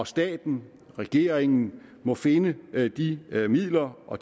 staten og regeringen må finde de midler og